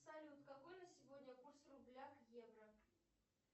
салют какой на сегодня курс рубля к евро